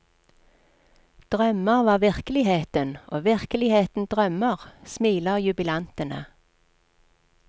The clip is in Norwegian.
Drømmer var virkeligheten og virkeligheten drømmer, smiler jubilantene.